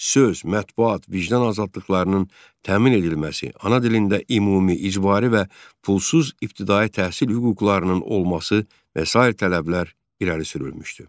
Söz, mətbuat, vicdan azadlıqlarının təmin edilməsi, ana dilində ümumi, icbari və pulsuz ibtidai təhsil hüquqlarının olması və sair tələblər irəli sürülmüşdü.